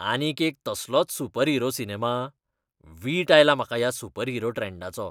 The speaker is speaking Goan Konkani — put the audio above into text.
आनीक एक तसलोच सुपरहिरो सिनेमा? वीट आयला म्हाका ह्या सुपरहिरो ट्रॅन्डाचो.